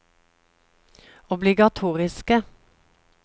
obligatoriske